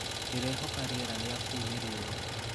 ndirehoka rĩera ria kũũ ni rĩũa